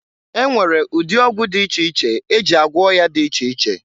E nwere ụdị ọgwụ dị iche iche e ji agwọ ọya dị iche iche.